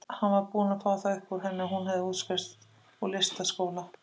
Hann var búinn að fá það upp úr henni að hún hefði útskrifast úr listaháskóla.